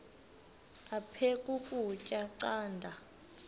aphek ukutya canda